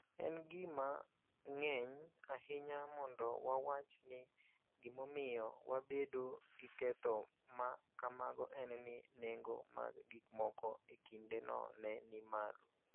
En gima ng�eny ahinya mondo wawach ni gimomiyo wabedo gi ketho ma kamago en ni nengo mag gikmoko e kindeno ne ni malo.